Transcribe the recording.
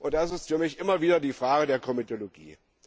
Das ist für mich immer wieder die Frage der Komitologie.